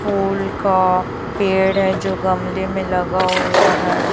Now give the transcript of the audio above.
फूल का पेड़ है जो गमले में लगा हुआ है।